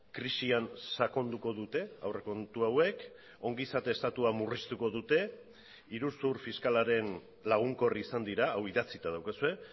krisian sakonduko dute aurrekontu hauek ongizate estatua murriztuko dute iruzur fiskalaren lagunkor izan dira hau idatzita daukazue